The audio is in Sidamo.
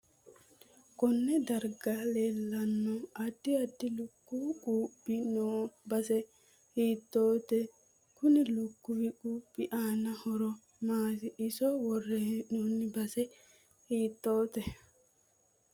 Konne darga leelano addi addi lukuwu quuphi noo base hiitoote kunni lukkuwu kuuphi aano horo maati iso worre heenooni base hiitoote